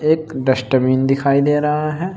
एक डस्टबिन दिखाई दे रहा है।